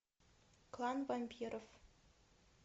клан вампиров